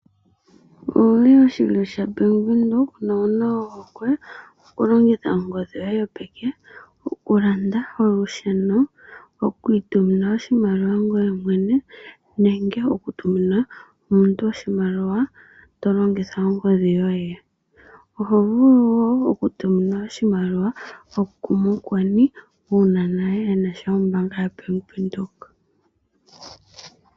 Owu li oshilyo shaBAnk Windhoek nowu na ohokwe okulongitha ongodhi yoye yopeke okulanda olusheno, okuitumina oshimaliwa ngoye mwene nenge okutumina omuntu oshimaliwa to longitha ongodhi yoye? Oho vulu wo okutuminwa oshimaliwa kumukweni uuna naye e na ombaanga yoBank Windhoek.